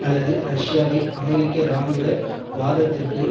அல்லது ரஷ்யாவை அமெரிக்க இராணுவ வாதத்திற்கு